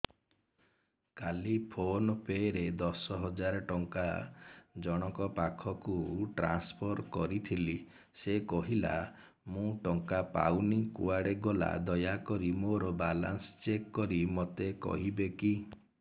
କାଲି PhonePe ରେ ଦଶ ହଜାର ଟଙ୍କା ଜଣକ ପାଖକୁ ଟ୍ରାନ୍ସଫର୍ କରିଥିଲି ସେ କହିଲା ମୁଁ ଟଙ୍କା ପାଇନି କୁଆଡେ ଗଲା ଦୟାକରି ମୋର ବାଲାନ୍ସ ଚେକ୍ କରି ମୋତେ କହିବେ କି